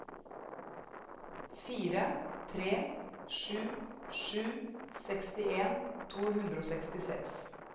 fire tre sju sju sekstien to hundre og sekstiseks